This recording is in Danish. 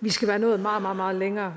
vi skal være nået meget meget længere